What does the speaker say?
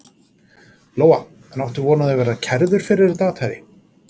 Lóa: En áttu von á því að verða kærður fyrir þetta athæfi?